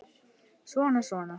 Svona, svona